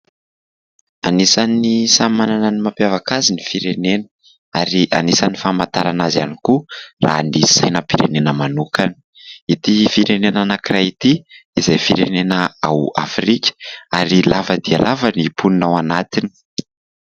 Anisan'ny samy manana ny mampiavaka azy ny firenena ary anisany famantarana azy ihany koa raha ny sainam-pirenena manokana. Ity firenena anankiray ity izay firenena ao Afrika ary lava dia lava ny mponina ao anatiny.